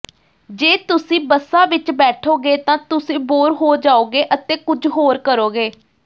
ਜੇ ਤੁਸੀਂ ਬੱਸਾਂ ਵਿਚ ਬੈਠੋਗੇ ਤਾਂ ਤੁਸੀਂ ਬੋਰ ਹੋ ਜਾਓਗੇ ਅਤੇ ਕੁਝ ਹੋਰ ਕਰੋਗੇ